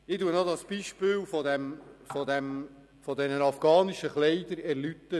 Ich erläutere mein Beispiel mit den afghanischen Kleidern;